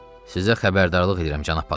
Sizə xəbərdarlıq eləyirəm, cənab patrul.